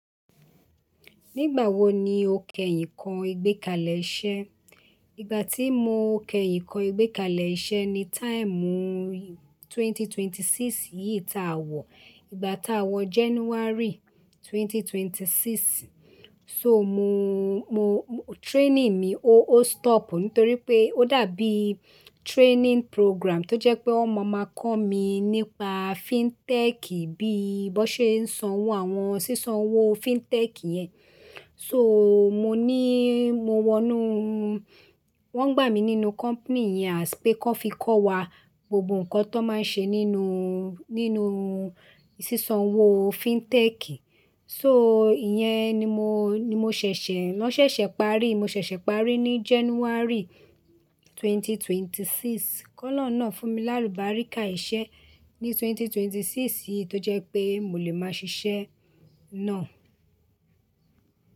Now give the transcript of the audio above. Nígbà wo ni o kẹyin kọ́ ìgbẹ́kalẹ̀ iṣẹ́? Ìgbà tí mo kẹyìn kọ́ ìgbẹ́kalẹ̀ iṣẹ́ ni táìmù ẹgbẹ̀rún méjì ó lé mẹ́rìndínlọ́gbọ̀n yìí tá a wọ̀, ìgbà tá a wọ January twenty twenty-six. So mo, mo training mi ó, ó stop nítorí pé ó dàbí training program tó jẹ́ pé wọ́n máa ma kọ́ mi nípa FinTech bí i bó ṣe ń san owó àwọn sísan owó FinTech yẹn. So mo ní mo wọnú, wọ́n gbà mí nínú company yẹn as pé kí wọ́n fi kọ́ wa gbogbo ǹkan tó wón máa ń ṣe nínú, nínú sísan owó FinTech. So ìyẹ́n ni mo, ni mo ṣẹ̀ṣẹ̀, náá ṣẹ̀ṣẹ̀ parí, mo ṣẹ̀ṣẹ̀ parí ní January twenty twenty-six. Kọ́lọ́un náà fún mi lálùbáríkà iṣẹ́ ní ẹgbẹ̀rún méjì ó lé mẹ́rìndínlọ́gbọ̀n yìí tó jẹ́ pé mo lè máa ṣiṣẹ́ náà.